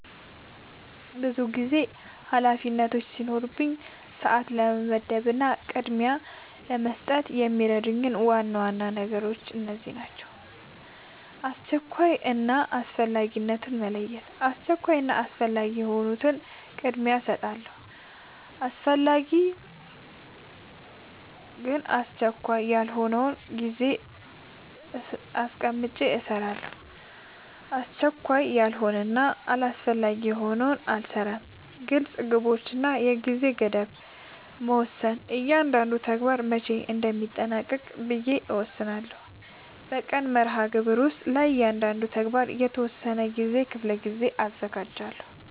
ብዙ ኃላፊነቶች ሲኖሩኝ ሰዓት ለመመደብ እና ቅድሚያ ለመስጠት የሚረዱኝ ዋና ዋና ነገሮች እነዚህ ናቸው :-# አስቸኳይ እና አስፈላጊነትን መለየት:- አስቸኳይ እና አስፈላጊ የሆኑትን ቅድሚያ እሰጣለሁ አስፈላጊ ግን አስቸካይ ያልሆነውን ጊዜ አስቀምጨ እሰራለሁ አስቸካይ ያልሆነና አስፈላጊ ያልሆነ አልሰራውም # ግልፅ ግቦች እና የጊዜ ገደብ መወሰን እያንዳንዱን ተግባር መቼ እንደሚጠናቀቅ ብዬ እወስናለሁ በቀን መርሃግብር ውስጥ ለእያንዳንዱ ተግባር የተወሰነ የጊዜ ክፍል አዘጋጃለሁ